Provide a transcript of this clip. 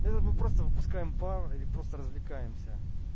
не мы просто выпускаем пар или просто развлекаемся